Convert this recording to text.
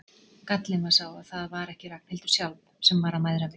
Gallinn var sá að það var ekki Ragnhildur sjálf sem var að mæðra mig.